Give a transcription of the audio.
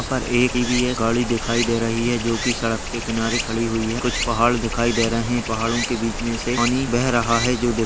यहाँ पर एक इ.वी. गाड़ी दिखाई दे रही है जो की सड़क के किनारे खड़ी हुई है कुछ पहाड़ दिखाई दे रहे हैं पहाड़ों के बीच में से पानी बह रहा है जो दिख --